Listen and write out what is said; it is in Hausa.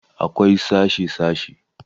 Akwai sashe -sashe